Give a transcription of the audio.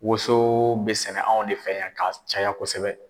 Woso bɛ sɛnɛ anw ne fɛ yan ka caya kosɛbɛ.